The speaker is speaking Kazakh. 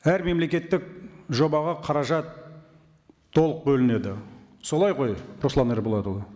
әр мемлекеттік жобаға қаражат толық бөлінеді солай ғой руслан ерболатұлы